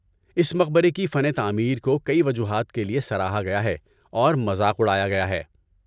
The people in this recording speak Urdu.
اس مقبرے کی فن تعمیر کو کئی وجوہات کے لیے سراہا گیا ہے اور مذاق اڑایا گیا ہے۔